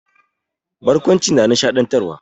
Barkwanci na nishaɗantarwa.